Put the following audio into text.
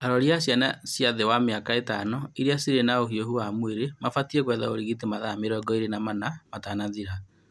Arori a ciana cia thĩ wa mĩaka ĩtano iria cirĩ na ũhiũhu wa mwĩrĩ mabatiĩ gwetha ũrigiti mathaa mĩrongo ĩĩrĩ na mana matanathira